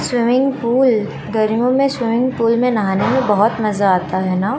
swimming pool गर्मियों में swimming pool में नहाने में बहोत मजा आता है न--